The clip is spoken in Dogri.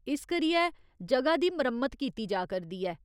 इस करियै ज'गा दी मरम्मत कीती जा करदी ऐ।